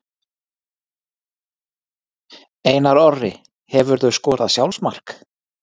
Einar Orri Hefurðu skorað sjálfsmark?